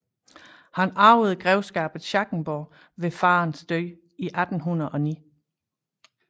Han arvede Grevskabet Schackenborg ved faderens død i 1809